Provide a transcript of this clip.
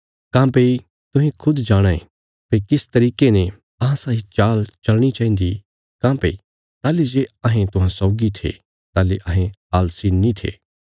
तुहें खुद इ बौहत अच्छे तरीके ने जाणाँ यें भई तुहांजो तियां इ जीणा चाहिन्दा तियां जे अहें जीआं थे काँह्भई ताहली जे अहें तुहांरे बिच थे तां अहें आलसी नीं थे पर काम्म करां थे